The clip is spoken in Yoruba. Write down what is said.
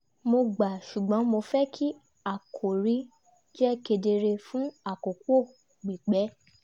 mo gbà ṣùgbọ́n mo fẹ́ kí àkòrí jẹ́ kedere fún àkókò pípẹ́